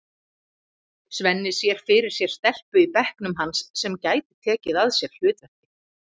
Svenni sér fyrir sér stelpu í bekknum hans sem gæti tekið að sér hlutverkið.